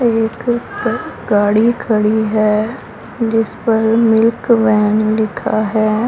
एक गाड़ी खड़ी है जिस पर मिल्क वैन लिखा है।